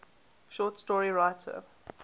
short story writer